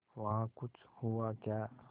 वहाँ कुछ हुआ क्या